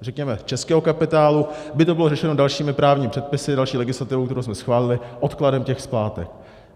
řekněme, českého kapitálu by to bylo řešeno dalšími právními předpisy, další legislativou, kterou jsme schválili, odkladem těch splátek.